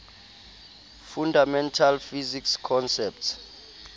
fundamental physics concepts